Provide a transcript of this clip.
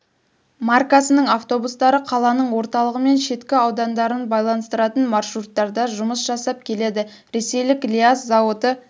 маркасының автобустары қаланың орталығы мен шеткі аудандарын байланыстыратын маршруттарда жұмыс жасап келеді ресейлік лиаз зауыты